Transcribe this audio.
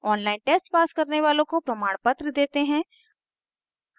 online test pass करने वालों को प्रमाणपत्र देते हैं